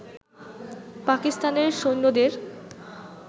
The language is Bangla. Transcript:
পাকিস্তানের সৈন্যদের